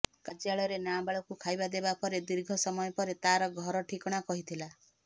କାର୍ଯ୍ୟାଳୟରେ ନାବାଳକୁ ଖାଇବା ଦେବା ପରେ ଦୀର୍ଘ ସମୟ ପରେ ତାର ଘର ଠିକଣା କହିଥିଲା